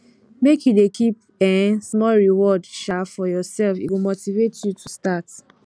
make you dey keep um small reward um for yoursef e go motivate you to start